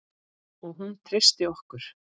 Og hún treysti okkur.